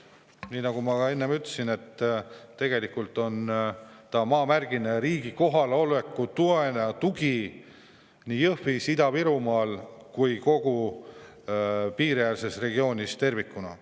Nii nagu ma ka enne ütlesin, tegu on maamärgiga ja riigi kohaloleku toega nii Jõhvis kui ka kogu Ida-Virumaal, kogu piiriäärses regioonis tervikuna.